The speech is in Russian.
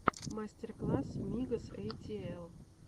мастер класс мигос эй ти эл